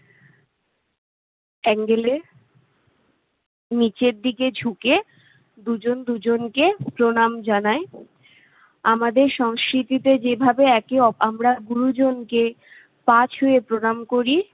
angle এ নিচের দিকে ঝুঁকে দুজন দুজনকে প্রণাম জানায়। আমাদের সংস্মৃতিতে যেভাবে একে অপ~ আমরা গুরুজনকে পা ছুঁয়ে প্রণাম করি